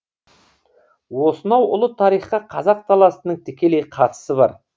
осынау ұлы тарихқа қазақ даласының тікелей қатысы бар